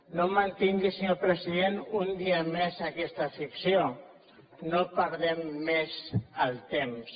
no mantingui senyor president un dia més aquesta ficció no perdem més el temps